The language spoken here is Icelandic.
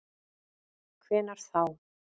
Hvenær þá?